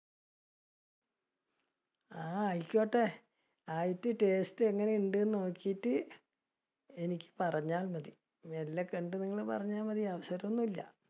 ആ ആയിക്കോട്ടെ, ആയിട്ട് taste എങ്ങനെ ഉണ്ടെന്ന് നോക്കിയിട്ട്, എനിക്ക് പറഞ്ഞാൽ മതി മെല്ലെ കണ്ടു നിങ്ങൾ പറഞ്ഞാൽ മതി